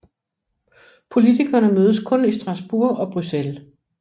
Politikerne mødes kun i Strasbourg og Bruxelles